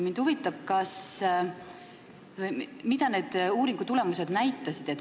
Mind huvitab, mida need tulemused näitasid.